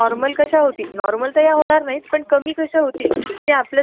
पण अशा एरिया मध्ये करू नका जिथे लोक राहतात आणि त्रास होतो